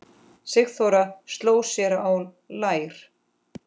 Sigþóra sló sér á lær.